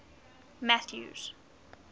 mathews